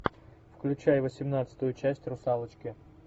включай восемнадцатую часть русалочки